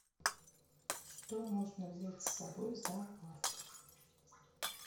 что можно взять с собой в зоопарк